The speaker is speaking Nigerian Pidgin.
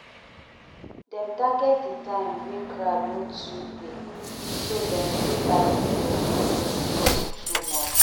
dem target the time wey crowd no too dey so dem fit buy ticket wey no cost too much.